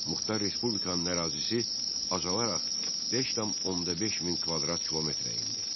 Muxtar Respublikanın ərazisi azalaraq 5,5 min kvadrat kilometrə endi.